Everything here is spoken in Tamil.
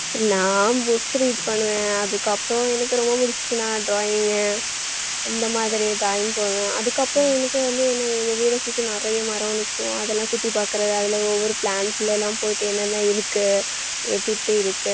நான் books read பண்ணுவேன் அதுக்கப்புறம் எனக்கு ரொம்ப பிடிச்சிச்சுன்னா drawing இந்த மாதிரி அதுக்கப்புறம் எனக்கு வந்து எங்க வீட்டை சுத்தி நிறைய மரம் நிக்கும் அதெல்லாம் சுத்தி பார்க்குறது அதுல ஒவ்வொரு plant ல எல்லாம் போயிட்டு என்னென்ன இருக்கு எப்படி எப்படி இருக்கு